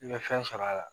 I bɛ fɛn sɔrɔ a la